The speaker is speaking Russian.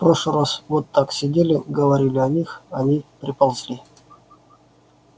в прошлый раз вот так сидели говорили о них они приползли